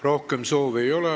Rohkem soove ei ole.